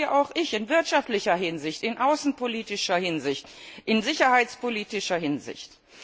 Dazu stehe auch ich in wirtschaftlicher Hinsicht, in außenpolitischer Hinsicht, in sicherheitspolitischer Hinsicht.